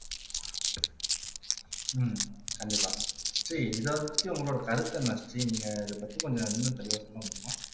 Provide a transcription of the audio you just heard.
ஹம் கண்டிப்பா ஸ்ரீ இதைப்பத்தி உங்களோட கருத்து என்ன ஸ்ரீ நீங்க இதைப் பத்தி கொஞ்சம் இன்னும் தெளிவா சொல்ல முடியுமா